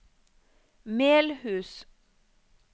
Melhus